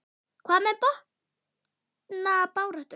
Hvað með botnbaráttuna?